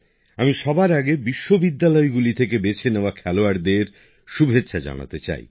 আমি সবার আগে বিশ্ববিদ্যালয়গুলি থেকে বেছে নেওয়া খেলোয়াড়দের শুভেচ্ছা জানাতে চাই